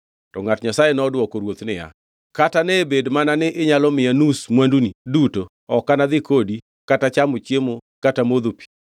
To ngʼat Nyasaye nodwoko ruoth niya, “Kata ne bed mana ni inyalo miya nus mwanduni duto ok anadhi kodi kata chamo chiemo kata modho pi ka.